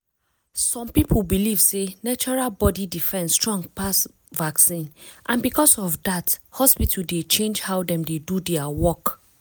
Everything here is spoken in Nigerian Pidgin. some people believe sey natural body defence strong pass vaccine and because of that hospital dey change how dem dey do their work.